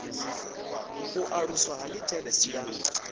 u aluswa ha litheresi ya